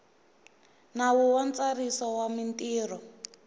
nawu wa ntsariso wa mintirho